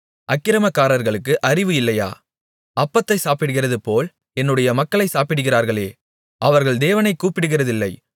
அக்கிரமக்காரர்களுக்கு அறிவு இல்லையா அப்பத்தை சாப்பிடுகிறதுபோல் என்னுடைய மக்களைச் சாப்பிடுகிறார்களே அவர்கள் தேவனைக் கூப்பிடுகிறதில்லை